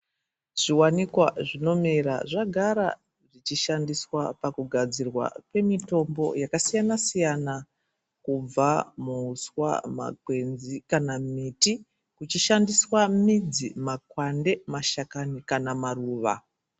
Zvivanikwa zvinomera zvagara zvichishandiswa pakugadzirwa kwemitombo yakasiyana-siyana, kubva muhuswa, magwenzi kana miti. Kuchishandiswa midzi, makwande, mashakani kana maruva.